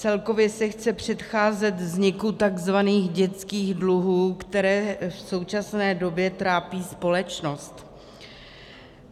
Celkově se chce předcházet vzniku tzv. dětských dluhů, které v současné době trápí společnost.